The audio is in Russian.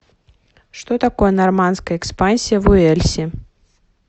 что такое нормандская экспансия в уэльсе